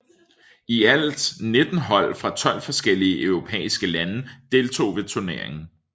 I alt 19 hold fra 12 forskellige europæiske lande deltog ved turneringen